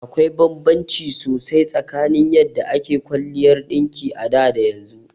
Akwai banbanci sosai tsakanin yadda ake kwaliyar ɗinki a da da yanzu.